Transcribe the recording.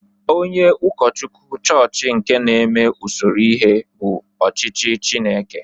Onye ụkọchukwu chọọchị nke na-eme usoro ihe bụ ọchịchị Chineke.